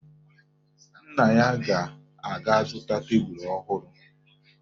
Nna ya ga-aga zụta tebulu ọhụrụ